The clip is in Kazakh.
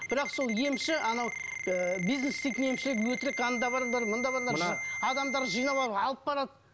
бірақ сол емші анау ы бизнес істейтін емшілер өтірік анда барыңдар мұнда барыңдар адамдарды жинап алып алып барады